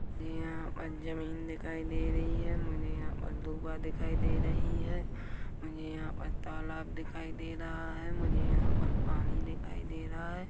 और कुछ चित्र बना रहे हैं का सीट पर और पिछे मुझे पेड़ दिखाई दे रहा है खिड़कियां दिखाई दे रही हैं और भी मुझे स्कूल दिखाई दे रहे है।